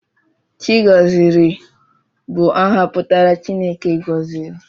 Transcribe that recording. Chigọziri bụ aha pụtara 'Chineke gọziri'